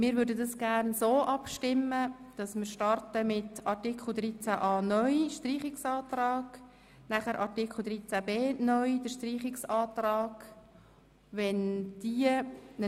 Wir stimmen zuerst über den Streichungsantrag betreffend Artikel 13a (neu) ab, danach über den Streichungsantrag betreffend Artikel 13b (neu).